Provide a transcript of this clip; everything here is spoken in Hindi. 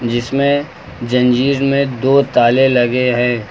जिसमें जंजीर में दो ताले लगे हैं।